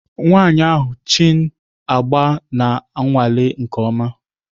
Nwanyị ahụ Chin agba na-anwale nke ọma